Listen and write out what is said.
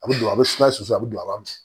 A bɛ don a bɛ sumaya susu a bɛ don a b'a m